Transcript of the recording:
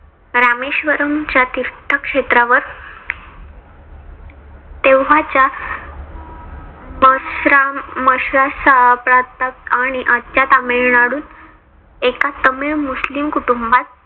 रामेश्वरम च्या तीर्थ क्षेत्रावर तेंव्हाच्या प्रांतात आणि आजच्या तमिळनाडूत एका तमिळ मुस्लीम कुटुंबात